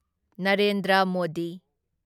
Narendra Modi